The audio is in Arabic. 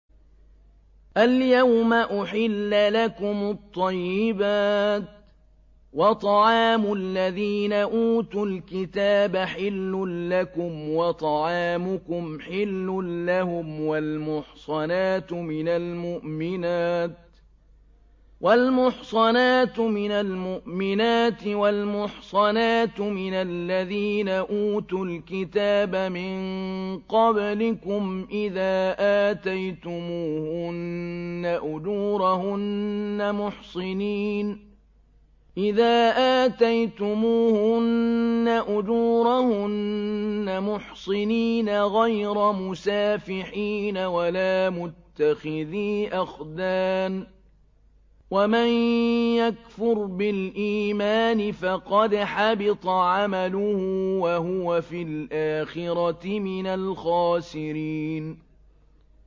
الْيَوْمَ أُحِلَّ لَكُمُ الطَّيِّبَاتُ ۖ وَطَعَامُ الَّذِينَ أُوتُوا الْكِتَابَ حِلٌّ لَّكُمْ وَطَعَامُكُمْ حِلٌّ لَّهُمْ ۖ وَالْمُحْصَنَاتُ مِنَ الْمُؤْمِنَاتِ وَالْمُحْصَنَاتُ مِنَ الَّذِينَ أُوتُوا الْكِتَابَ مِن قَبْلِكُمْ إِذَا آتَيْتُمُوهُنَّ أُجُورَهُنَّ مُحْصِنِينَ غَيْرَ مُسَافِحِينَ وَلَا مُتَّخِذِي أَخْدَانٍ ۗ وَمَن يَكْفُرْ بِالْإِيمَانِ فَقَدْ حَبِطَ عَمَلُهُ وَهُوَ فِي الْآخِرَةِ مِنَ الْخَاسِرِينَ